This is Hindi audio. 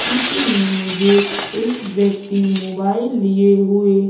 चित्र में मुझे एक व्यक्ति मोबाइल लिए हुए--